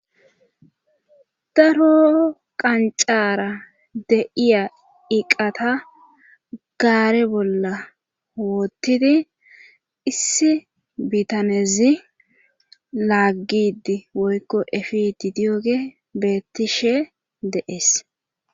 Daro qancara deiya iqata gaare bolla woottidi issi bitanezi laaggidi woykko efi didiyoge beettishe deees